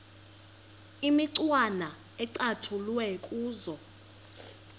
imicwana ecatshulwe kuzo